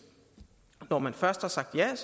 når man først har sagt ja